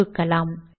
தொகுக்கலாம்